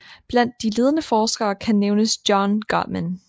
Blandt de ledende forskere kan nævnes John Gottman